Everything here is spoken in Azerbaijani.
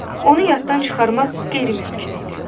Onu yaddan çıxarmaq qeyri-mümkün idi.